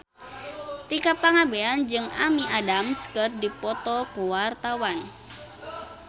Tika Pangabean jeung Amy Adams keur dipoto ku wartawan